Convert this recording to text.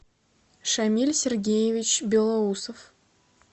шамиль сергеевич белоусов